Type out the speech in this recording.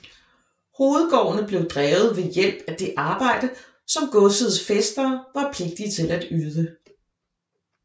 Hovedgårdene blev drevet ved hjælp af det arbejde som godsets fæstere var pligtige til at yde